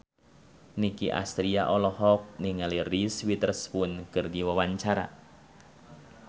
Nicky Astria olohok ningali Reese Witherspoon keur diwawancara